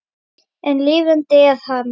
En lifandi er hann.